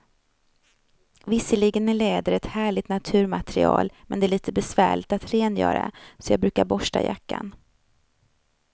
Visserligen är läder ett härligt naturmaterial, men det är lite besvärligt att rengöra, så jag brukar borsta jackan.